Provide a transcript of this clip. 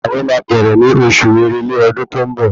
Àwẹ̀ máa bẹ̀rẹ̀ ní oṣù èrèlé ọdún tó ń bọ̀